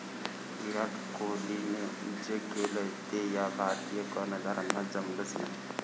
विराट कोहलीने जे केलं ते या भारतीय कर्णधारांना जमलंच नाही